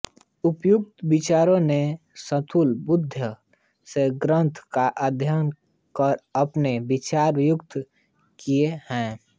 उपर्युक्त विचारकों ने स्थूल बुद्धि से ग्रंथ का अध्ययन कर अपने विचार व्यक्त किए हैं